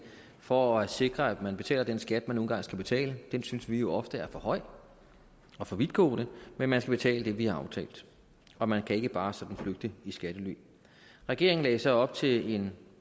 for at sikre at man betaler den skat man nu engang skal betale den synes vi jo ofte er for høj og for vidtgående men man skal betale det vi har aftalt og man kan ikke bare sådan flygte i skattely regeringen lagde så op til en